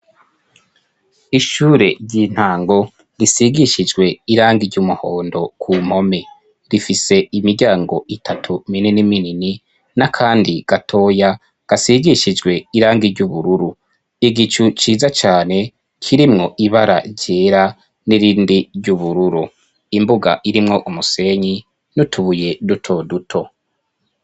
Ishure ry'intango risigishijwe irangi ry'umuhondo ku mpome, rifise imiryango itatu minini minini n'akandi gatoya gasigishijwe irangi ry'ubururu, igicu ciza cane kirimwo ibara ryera n'irindi ry'ubururu, imbuga irimwo umusenyi n'utubuye duto duto.